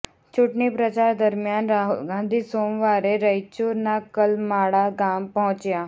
ચૂંટણી પ્રચાર દરમિયાન રાહુલ ગાંધી સોમવારે રાયચુર ના કલમાળા ગામ પહોંચ્યા